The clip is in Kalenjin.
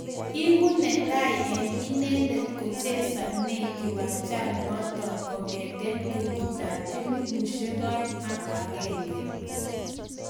Egu netai eng inendet kochesane kiwanjanotok kong'te kenyitab elfu aeng ak agenge